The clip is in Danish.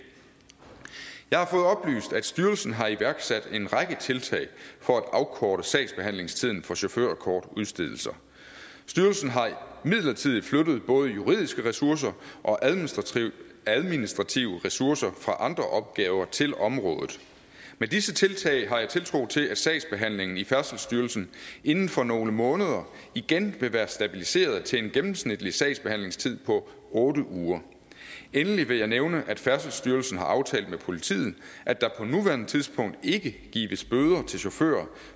jeg har fået oplyst at styrelsen har iværksat en række tiltag for at afkorte sagsbehandlingstiden for chaufførkortudstedelser styrelsen har midlertidigt flyttet både juridiske ressourcer og administrative administrative ressourcer fra andre opgaver til området med disse tiltag har jeg tiltro til at sagsbehandlingen i færdselsstyrelsen inden for nogle måneder igen vil være stabiliseret til en gennemsnitlig sagsbehandlingstid på otte uger endelig vil jeg nævne at færdselsstyrelsen har aftalt med politiet at der på nuværende tidspunkt ikke gives bøder til chauffører